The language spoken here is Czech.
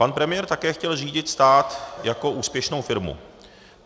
Pan premiér také chtěl řídit stát jako úspěšnou firmu.